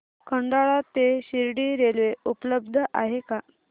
खंडाळा ते शिर्डी रेल्वे उपलब्ध आहे का